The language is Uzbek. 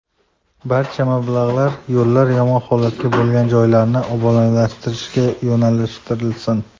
Barcha mablag‘lar yo‘llar yomon holatda bo‘lgan joylarni obodonlashtirishga yo‘naltirilsin.